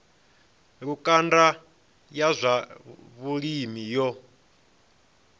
lukanda ya zwa vhulimi yo